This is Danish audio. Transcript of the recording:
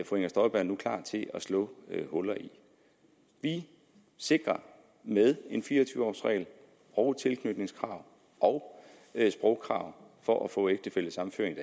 fru inger støjberg er klar til at slå huller i vi sikrer med en fire og tyve års regel og et tilknytningskrav og et sprogkrav for at få ægtefællesammenføring